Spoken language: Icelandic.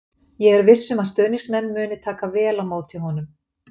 Ég er viss um að stuðningsmenn muni taka vel á móti honum.